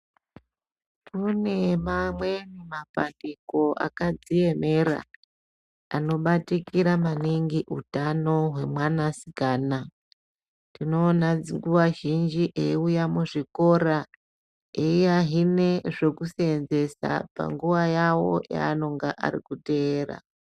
Kune mamweni mapandiko akadziemera anobatikira maningi utano hwemwanasikana tinoona nguva zhinji eiuya kuzvikora eiahine zvekuseenzesa panguwa yawo yaanonga arikuteera.